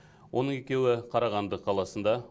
оның екеуі қарағанды қаласында